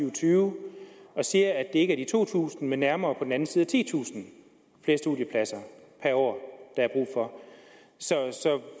og tyve og siger at det ikke er to tusind men nærmere på den anden side af titusind flere studiepladser per år der er brug for så